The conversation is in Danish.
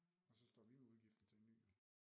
Og så står vi med udgiften til en ny jo